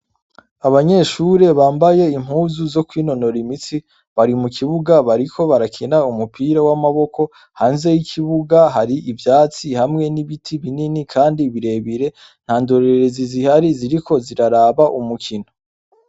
Abanyeshuri bambaye impuzu zo kwinonora imitsi bari mukibuga bariko barakina umupira w'amaboko hanze yikibuga hari ivyatsi hamwe n'ibiti binini kandi birebire ntandorerezi zihari ziriko ziraraba umukino.